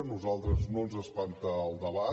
a nosaltres no ens espanta el debat